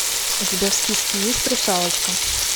у тебя в списке есть русалочка